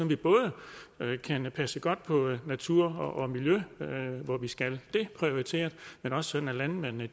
vi både kan passe godt på natur og miljø hvor vi skal prioritere dét men også sådan at landmændene